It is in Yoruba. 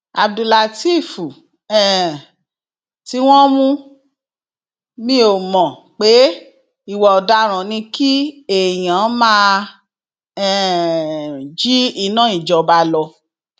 abdulateef um tí wọn mú mi ò mọ pé ìwà ọdaràn ni kí èèyàn máa um jí iná ìjọba lọ